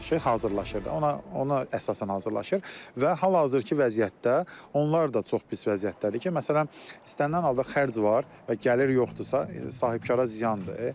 Ona qarşı hazırlaşır, ona əsasən hazırlaşır və hal-hazırki vəziyyətdə onlar da çox pis vəziyyətdədir ki, məsələn, istənilən halda xərc var və gəlir yoxdursa, sahibkara ziyandır.